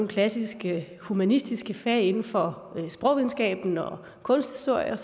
klassiske humanistiske fag inden for sprogvidenskab kunsthistorie